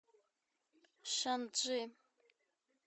шанчжи